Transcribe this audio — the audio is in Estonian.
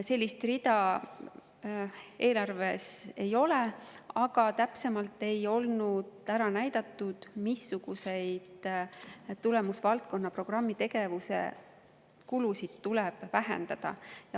Sellist rida eelarves ei ole, aga täpsemalt ei olnud ära näidatud, missuguseid tulemusvaldkonna programmitegevuse kulusid tuleks vähendada.